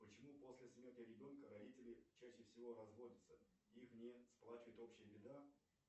почему после смерти ребенка родители чаще всего разводятся их не сплачивает общая беда